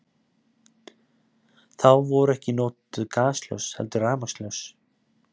Þá voru ekki notuð gasljós heldur rafmagnsljós.